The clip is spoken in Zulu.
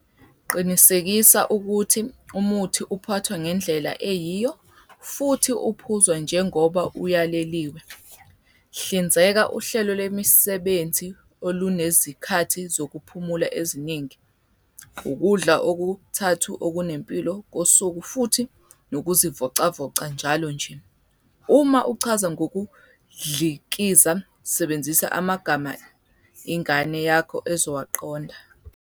Qinisekisa ukuthi umuthi uphathwa ngendlela eyiyo futhi uphuzwa njengoba uyaleliwe. Hlinzeka uhlelo lwemisebenzi olunezikhathi zokuphumula eziningi, ukudla okuthathu okunempilo kosuku futhi nokuzivocavoca njalo nje. Uma uchaza ngokudlikiza sebenzisa amagama ingane yakho ezowaqonda.